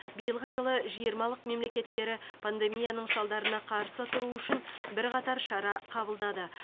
биылғы жылы жиырмалық мемлекеттері пандемияның салдарына қарсы тұру үшін бірқатар шара қабылдады